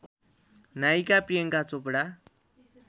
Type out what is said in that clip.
नायिका प्रियङ्का चोपडा